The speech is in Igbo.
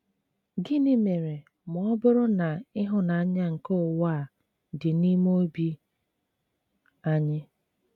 Gịnị mere ma ọ bụrụ na ịhụnanya nke ụwa a dị n'ime obi anyị?